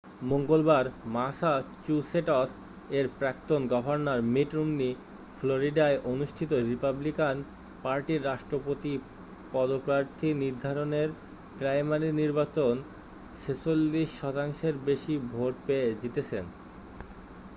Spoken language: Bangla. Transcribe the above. মঙ্গলবার ম্যাসাচুসেটস এর প্রাক্তন গভর্নর মিট রম্নি ফ্লরিডায় অনুষ্ঠিত রিপাবলিকান পার্টির রাষ্ট্রপতি পদপ্রার্থী নির্ধারণের প্রাইমারি নির্বাচন 46 শতাংশের বেশি ভোট পেয়ে জিতেছেন